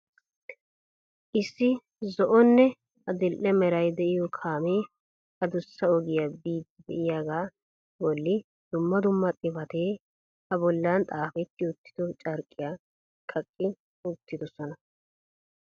Issi zo'onne adl"e meray de'iyo kaamee addussa ogiyaa biidi de'iyaaga bolli dumma dumma xifatee a bollan xaafeti uttido carqqiyaa kaqqi uttidoosona.